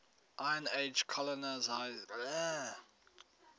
iron age colonisation